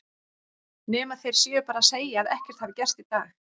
Nema þeir séu bara að segja að ekkert hafi gerst í dag.